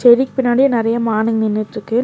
Ferric பின்னாடியு நெறைய மானுங்க நின்னுட்ருக்கு.